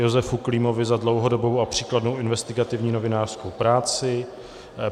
Josefu Klímovi za dlouhodobou a příkladnou investigativní novinářskou práci